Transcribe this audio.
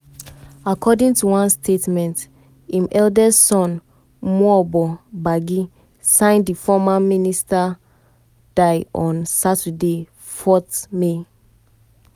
according to one statement im eldest son emuoboh gbagi sign di former minister die on saturday 4 may.